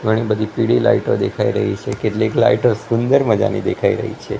ઘણી બધી પીળી લાઈટો દેખાઈ રહી છે કેટલીક લાઈટો સુંદર મજાની દેખાઈ રહી છે.